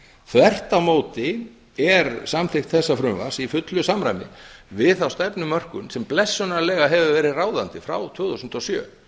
þvert á móti er samþykkt þessa frumvarps í fullu samræmi við þá stefnumörkun sem blessunarlega hefur verið ráðandi frá tvö þúsund og sjö